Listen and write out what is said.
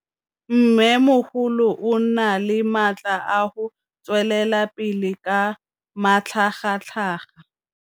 Mmêmogolo o na le matla a go tswelela pele ka matlhagatlhaga.